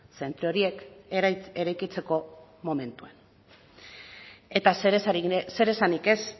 zentro horiek eraikitzeko momentuan eta zeresanik ez